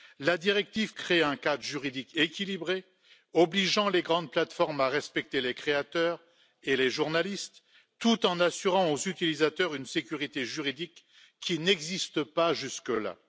La directive crée un cadre juridique équilibré obligeant les grandes plateformes à respecter les créateurs et les journalistes, tout en assurant aux utilisateurs une sécurité juridique qui n'existe pas jusque là.